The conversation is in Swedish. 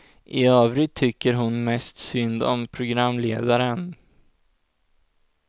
I övrigt tycker hon mest synd om programledaren.